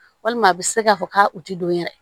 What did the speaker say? Walima a bɛ se k'a fɔ k'a u tɛ don yɛrɛ